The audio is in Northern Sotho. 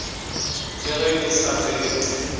le ge ke sa tsebe